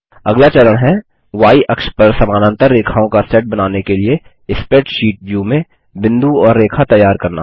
अगला चरण है य अक्ष पर समानांतर रेखाओं का सेट बनाने के लिए स्प्रैडशीट ब्यू में बिंदु और रेखा तैयार करना